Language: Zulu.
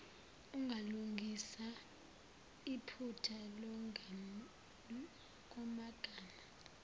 ungalungisa iphutha kumagama